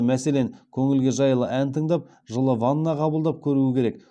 мәселен көңілге жайлы ән тыңдап жылы ванна қабылдап көру керек